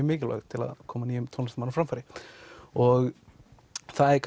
mikilvæg til að koma nýjum tónlistarmanni á framfæri og það er